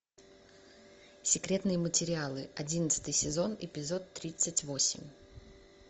секретные материалы одиннадцатый сезон эпизод тридцать восемь